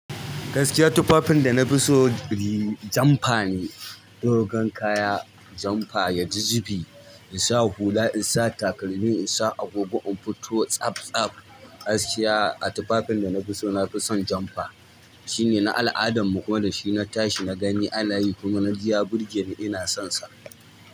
Gaskiya tufafin da nafi so jumper ne. Dogon kaya jumper yaji zubi, insa hula, insa takalmi, insa agogo, in fito tsab-tsab. Gaskiya a tufafin da nafi so nafi son jumper. Shine na al'adanmu kuma da shi na tashi nagani a nayi kuma naji ya burgeni ina sonsa.